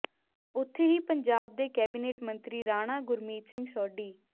ਉੱਥੇ ਹੀ ਪੰਜਾਬ ਦੇ ਕੈਬਿਨੇਟ ਮੰਤਰੀ ਰਾਣਾ ਗੁਰਮੀਤ ਸਿੰਘ ਸੋਢੀ